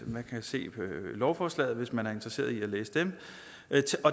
man kan se i lovforslaget hvis man er interesseret i at læse dem